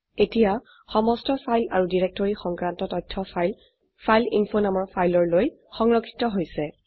এতিয়া সমস্ত ফাইল আৰু ডিৰেক্টৰী সংক্ৰান্ত তথ্য ফাইল ফাইলএইনফো নামৰ ফাইললৈ সংৰক্ষিত হৈছে